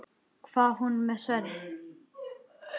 Var hann með sverð?